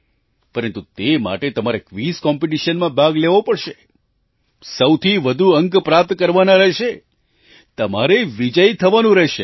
પરંતુ તે માટે તમારે ક્વિઝ કોમ્પિટિશનમાં ભાગ લેવો પડશે સૌથી વધુ અંક પ્રાપ્ત કરવાના રહેશે તમારે વિજયી થવાનું રહેશે